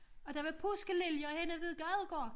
Og der var påskeliljer henne ved Gadegård